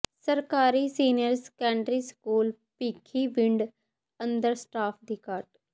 ਸਰਕਾਰੀ senior secondary school Bhikhiwind ਅੰਦਰ staff ਦੀ ਘਾਟ